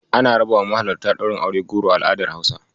Ana rabawa mahalarta Ɗaurin aure goro a al'adar Hausa.